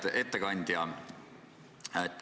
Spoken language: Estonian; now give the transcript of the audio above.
Hea ettekandja!